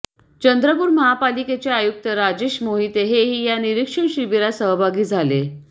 चंद्रपूर महापालिकेचे आयुक्त राजेश मोहिते हेही या निरीक्षण शिबिरात सहभागी झाले